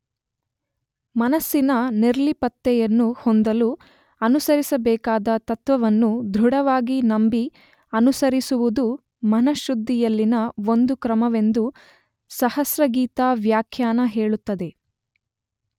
ಮನಸ್ಸಿನ ನಿರ್ಲಿಪ್ತತೆಯನ್ನು ಹೊಂದಲು ಅನುಸರಿಸಬೇಕಾದ ತತ್ತ್ವವನ್ನು ದೃಢವಾಗಿ ನಂಬಿ ಅನುಸರಿಸುವುದೆ ಮನಃಶುದ್ಧಿಯಲ್ಲಿನ ಒಂದು ಕ್ರಮವೆಂದು ಸಹಸ್ರಗೀತಾ ವ್ಯಾಖ್ಯಾನ ಹೇಳುತ್ತದೆ.